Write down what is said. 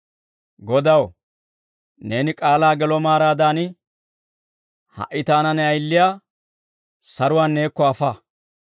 «Godaw, Neeni k'aalaa gelo maaraadan, ha"i taana ne ayiliyaa saruwaan neekko afa.